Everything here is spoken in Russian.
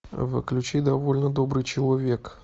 включи довольно добрый человек